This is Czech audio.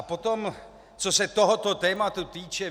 A potom, co se tohoto tématu týče.